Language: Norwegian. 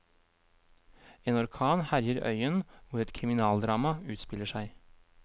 En orkan herjer øyen hvor et kriminaldrama utspiller seg.